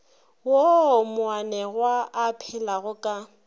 woo moanegwa a phelago ka